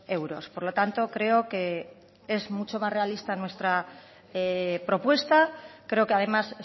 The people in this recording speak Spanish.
euros por lo tanto creo que es mucho más realista nuestra propuesta creo que además